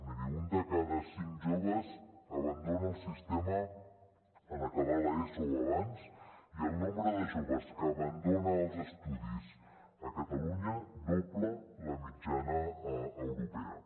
miri un de cada cinc joves abandona el sistema en acabar l’eso o abans i el nombre de joves que abandona els estudis a catalunya dobla la mitjana europea